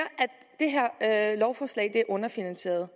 at det lovforslag er underfinansieret